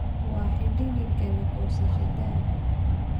waa xilligii galey gosashadadha